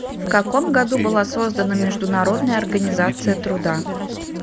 в каком году была создана международная организация труда